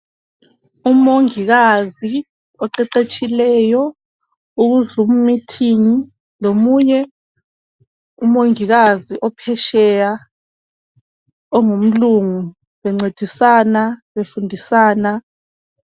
Umongikazi oqeqetshileyi uze ku mithingi lomunye umongikazi ophetsheya ongumlungu bencendisana befundisana.